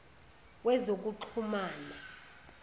wezokuxhumana